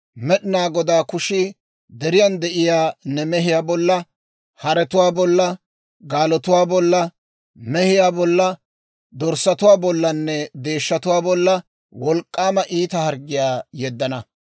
Med'inaa Godaa kushii deriyaan de'iyaa ne mehiyaa bolla, paratuwaa bolla, haretuwaa bolla, gaalotuwaa bolla, miyaa bolla, dorssatuwaa bollanne deeshshatuwaa bolla wolk'k'aama iita harggiyaa yeddana.